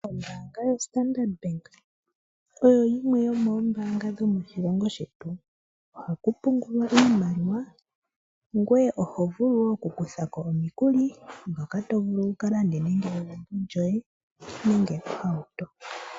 Ombaanga yoStandard Bank oyo yimwe yomoombaanga dhomoshilongo shetu. Ohaku pungulwa iimaliwa , ngoye oho vulu wo oku kutha ko omukuli ngoka to vulu wu kalande egumbo lyoye nenge ohauto .